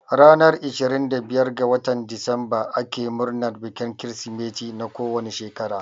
Ranar ishirin da biyar ga watan disemba ake murnan bikin Kirsimeti na kowane shekara